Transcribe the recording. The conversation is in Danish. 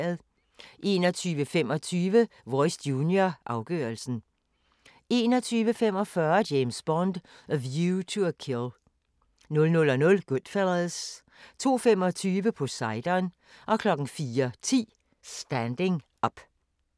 21:25: Voice Junior – afgørelsen 21:45: James Bond: A View to a Kill 00:00: GoodFellas 02:25: Poseidon 04:10: Standing Up